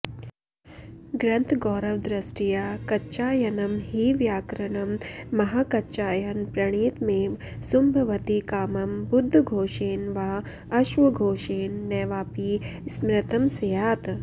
ग्रन्थगौर्वदृष्ट्या कच्चायनं हि व्याकरणं महाकच्चायन प्रणीतमेव सुम्भवति कामं बुद्धघोषेण वा अश्वघोषेण नैवापि स्मृतं स्यात्